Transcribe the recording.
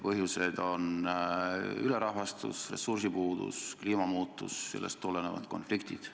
Põhjused on ülerahvastatus, ressursside puudus, kliimamuutused ja sellest kõigest tulenevad konfliktid.